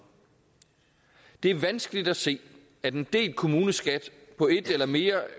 det er vanskeligt at se at en delt kommuneskat på et mere